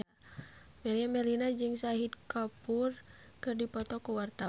Meriam Bellina jeung Shahid Kapoor keur dipoto ku wartawan